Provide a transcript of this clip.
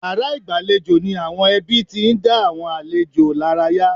Yàrá ìgbàlejò ni àwọn ẹbí tí ń dá àwọn àlejò lára yá.